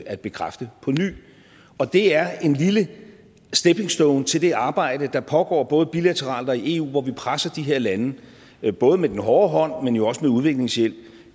at bekræfte på ny og det er en lille stepping stone til det arbejde der pågår både bilateralt og i eu hvor vi presser de her lande og det er både med den hårde hånd men jo også med udviklingshjælp